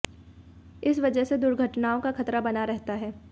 इस वजह से दुर्घटनाओं का खतरा बना रहता है